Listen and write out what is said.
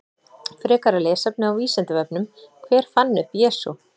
Frekara lesefni á Vísindavefnum: Hver fann upp Jesú?